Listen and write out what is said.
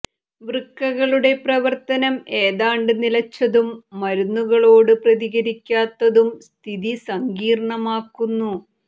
വൃക്കകളുടെ പ്രവർത്തനം എതാണ്ട് നിലച്ചതും മരുന്നുകളോട് പ്രതികരിക്കാത്തതും സ്ഥിതി സങ്കീർണ്ണമാക്കുന്നു